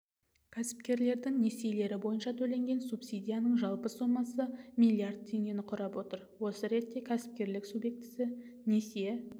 кәсіпкерлердің несиелері бойынша төленген субсидияның жалпы сомасы миллиард теңгені құрап отыр осы ретте кәсіпкерік субъектісі несие